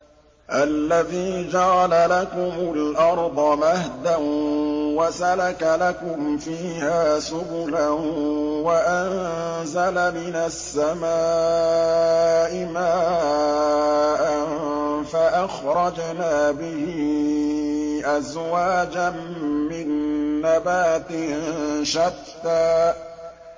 الَّذِي جَعَلَ لَكُمُ الْأَرْضَ مَهْدًا وَسَلَكَ لَكُمْ فِيهَا سُبُلًا وَأَنزَلَ مِنَ السَّمَاءِ مَاءً فَأَخْرَجْنَا بِهِ أَزْوَاجًا مِّن نَّبَاتٍ شَتَّىٰ